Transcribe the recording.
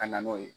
Ka na n'o ye